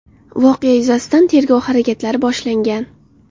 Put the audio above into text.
Voqea yuzasidan tergov harakatlari boshlangan.